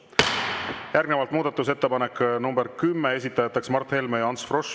Järgnevalt muudatusettepanek nr 10, esitajateks Mart Helme ja Ants Frosch.